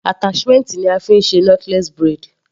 Attachment ni a fí ń ṣe knotless braid.